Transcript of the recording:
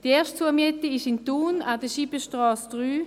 Die erste Zumiete befindet sich in Thun an der Scheibenstrasse 3.